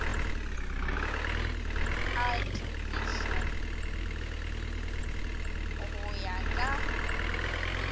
a tokišo go ya ka